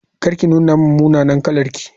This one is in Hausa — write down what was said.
Kar ki nuna min munanan kalarki.